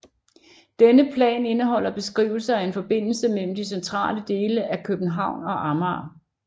Denne plan indeholder beskrivelser af en forbindelse mellem de centrale dele af København og Amager